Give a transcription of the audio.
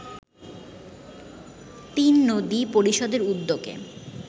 তিননদী পরিষদের উদ্যোগে